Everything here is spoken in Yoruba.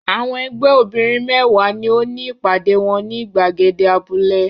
Àwọn ẹgbẹ́ obìnrin mẹ́wàá ni ó ní ìpàdé wọn ní ìgbàgede abúlé.